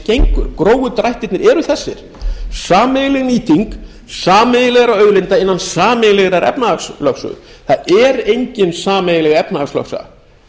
gengur grófu drættirnir eru þessir sameiginleg nýting sameiginlegra auðlinda innan sameiginlegrar efnahagslögsögu það er engin sameiginleg efnahagslögsaga